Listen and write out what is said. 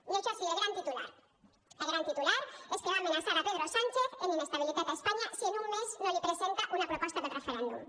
i això sí el gran titular el gran titular és que va amenaçar pedro sánchez amb inestabilitat a espanya si en un mes no li presenta una proposta per al referèndum